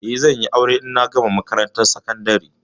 Eh, zan yi aure ne idan na gama makarantar sakandari.